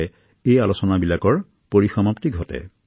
কটকৰ Dr Prakash ৰাৱো এনে এক প্ৰেৰণাদায়ক ব্যক্তি